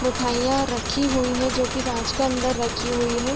मिठाईयाँ रखी हुई हैं जो की काँच के अंदर रखी हुई हैं।